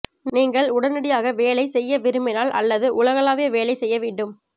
நீங்கள் உடனடியாக வேலை செய்ய விரும்பினால் அல்லது உலகளாவிய வேலை செய்ய வேண்டும்